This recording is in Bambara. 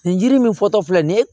Nin yiri min fɔtɔ filɛ nin ye